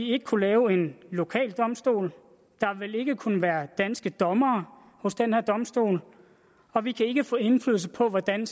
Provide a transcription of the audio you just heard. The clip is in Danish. ikke kunne lave en lokal domstol der vil ikke kunne være danske dommere hos den her domstol og vi kan ikke få indflydelse på hvordan